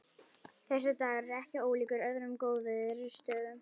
Þessi dagur er ekki ólíkur öðrum góðviðrisdögum.